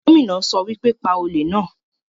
Gómìnà sọ wípé, 'Pa olè náà'